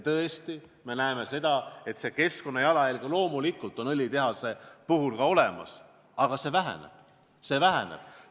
Tõesti, me näeme, et keskkonnajalajälg on loomulikult ka õlitehasel, aga see väheneb.